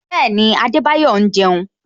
Bẹẹni, Adebayo ń jeun